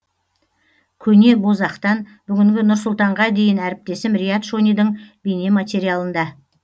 көне бозоқтан бүгінгі нұр сұлтанға дейін әріптесім риат шонидың бейнематериалында